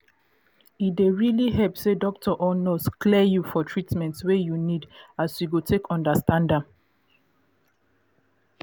e dey really help say doctor or nurse clear you for treatment wey you need as you go take understand am